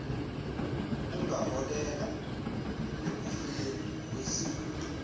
kungaholela ekufeni kweziguli